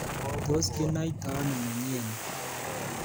Tos kinaitoi ano mnyeni?